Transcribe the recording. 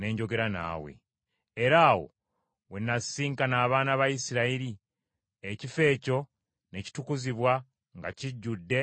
Era awo we nnaasisinkana abaana ba Isirayiri, ekifo ekyo ne kitukuzibwa nga kijjudde ekitiibwa kyange.